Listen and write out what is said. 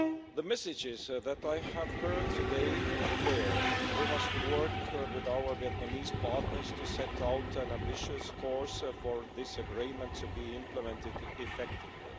The messages that I have heard today are clear we must work with our Vietnamese partners to set out an ambitious course for this Agreement to be implemented effectively.